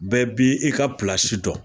Bɛɛ bi i ka dɔn